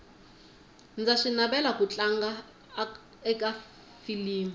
ndza swi navela ku tlanga aka filimu